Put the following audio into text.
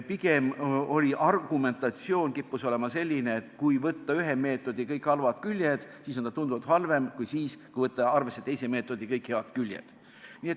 Pigem kippus argumentatsioon olema selline, et kui võtta ühe meetodi kõik halvad küljed, siis on see tunduvalt halvem variant sellest, kui võtta arvesse teise meetodi kõik head küljed.